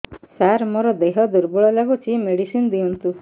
ସାର ମୋର ଦେହ ଦୁର୍ବଳ ଲାଗୁଚି ମେଡିସିନ ଦିଅନ୍ତୁ